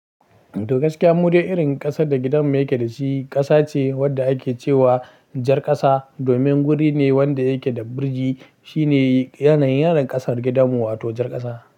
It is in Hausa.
To gaskiya, mude irin ƙasar da gidan mu yake da shi ƙasa ce wadda ake cewa jar ƙasa. Domin guri ne wanda yake da birji shine yanayin ƙasar gidan mu wa to jar ƙasa.